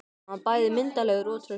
Hann var bæði myndarlegur og traustur.